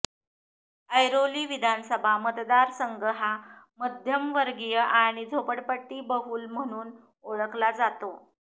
ऐरोली विधासभा मतदार संघ हा मध्यमवर्गीय आणि झोपडपट्टी बहुल म्हणून ओळखला जातो